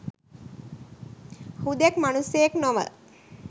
හුදෙක් මනුස්සයෙක් නොව